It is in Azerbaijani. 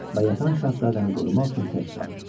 Və yatan şahzadəni qorumaq üçün tək qaldı.